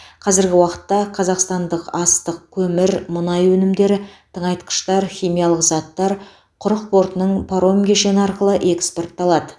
қазіргі уақытта қазақстандық астық көмір мұнай өнімдері тыңайтқыштар химиялық заттар құрық портының паром кешені арқылы экспортталады